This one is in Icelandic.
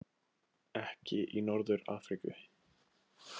Ekki í Norður- Afríku.